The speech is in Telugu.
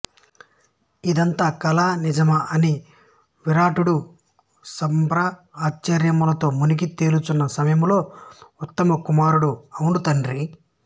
ఇదంతా కలా నిజమా అని విరాటుడు సంభ్రమాశ్చర్యాలతో మునిగి తేలుచున్న సమయంలో ఊత్తరకుమారుడు అవును తండ్రీ